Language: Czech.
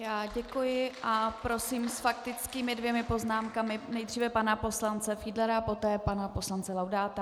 Já děkuji a prosím s faktickými dvěma poznámkami: nejprve pana poslance Fiedlera, poté pana poslance Laudáta.